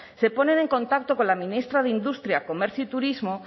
se ponen en contacto con la ministra de industria comercio y turismo